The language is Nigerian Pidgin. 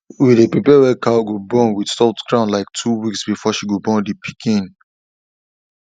we day prepare where cow go born with soft ground like two weeks before she go born the piken